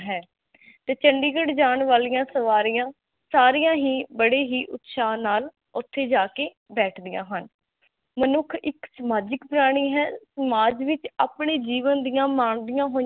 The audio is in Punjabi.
ਤੇ ਚੰਡੀਗੜ੍ਹ ਜਾਣ ਵਾਲਿਆ ਸਵਾਰਿਆ ਸਾਰਿਆ ਹੀ ਬੜੇ ਹੀ ਉਤਸਾਹ ਨਾਲ ਓਥੇ ਜਾਕੇ ਬੇਠਦਿਆ ਹਨ ਮਨੁਖ ਇਕ ਸਮਾਜਿਕ ਪ੍ਰਾਣੀ ਹੈ ਸਮਾਜ ਵਿਚ ਆਪਨੇ ਜੀਵਨ ਦੀਆ ਮੰਗਵਿਆ ਹੋਇਆ